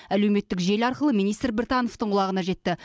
әлеуметтік желі арқылы министр біртановтың құлағына жетті